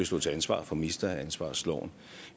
stå til ansvar for ministeransvarsloven